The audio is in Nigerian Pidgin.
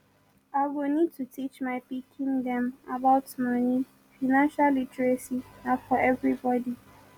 i go need to teach my pikin dem about moni financial literacy na for everybody